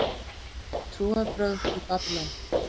Trúarbrögð í Babýlon